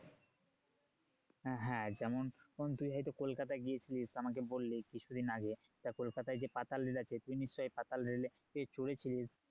হ্যাঁ যেমন তুই হয়তো কলকাতা গিয়েছিলিস আমাকে বললি কিছুদিন আগে তা কলকাতায় যে পাতাল rail আছে তুই নিশ্চয় পাতাল rail এ চড়েছিলিস